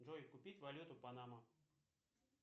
джой купить валюту панама